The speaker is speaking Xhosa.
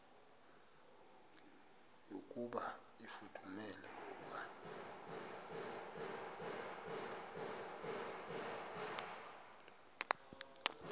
yokuba ifudumele okanye